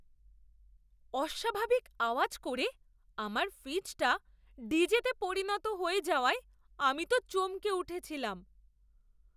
অস্বাভাবিক আওয়াজ করে আমার ফ্রিজটা ডিজে তে পরিণত হয়ে যাওয়ায় আমি তো চমকে উঠেছিলাম!